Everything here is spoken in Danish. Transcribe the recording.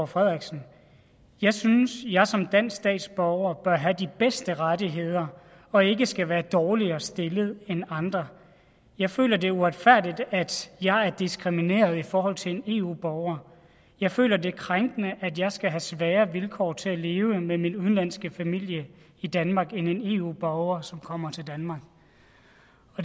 frederiksen jeg synes jeg som dansk statsborger bør have de bedste rettigheder og ikke skal være dårligere stillet end andre jeg føler det er uretfærdigt at jeg er diskrimineret i forhold til en eu borger jeg føler det er krænkende at jeg skal have sværere vilkår til at leve med min udenlandske familie i danmark end en eu borger som kommer til danmark